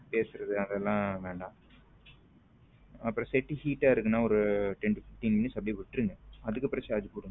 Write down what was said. பேசுறது அதெல்லாம் வேண்டாம் அப்புறம் set heat ஆ இருக்கு நான் ஒர ten to fifteen minutes அப்படியே விட்ருங்க அதுக்கப்புறம் charge போடுங்க.